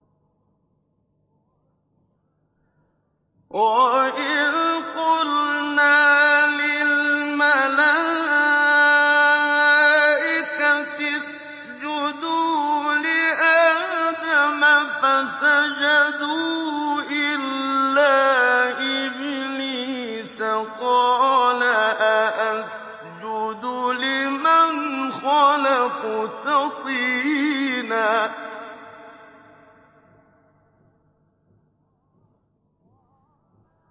وَإِذْ قُلْنَا لِلْمَلَائِكَةِ اسْجُدُوا لِآدَمَ فَسَجَدُوا إِلَّا إِبْلِيسَ قَالَ أَأَسْجُدُ لِمَنْ خَلَقْتَ طِينًا